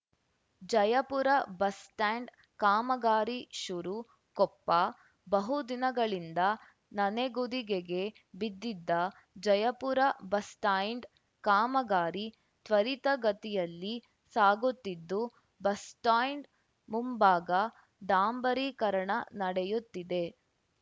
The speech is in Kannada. ಜಯಪುರ ಬಸ್‌ ಸ್ಟ್ಯಾಂಡ್‌ ಕಾಮಗಾರಿ ಶುರು ಕೊಪ್ಪ ಬಹು ದಿನಗಳಿಂದ ನನೆಗುದಿಗೆಗೆ ಬಿದ್ದಿದ್ದ ಜಯಪುರ ಬಸ್‌ಸ್ಟ್ಯಾಂಡ್ ಕಾಮಗಾರಿ ತ್ವರಿತಗತಿಯಲ್ಲಿ ಸಾಗುತ್ತಿದ್ದು ಬಸ್‌ಸ್ಟ್ಯಾಂಡ್ ಮುಂಭಾಗ ಡಾಂಬರೀಕರಣ ನಡೆಯುತ್ತಿದೆ